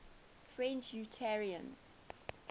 french unitarians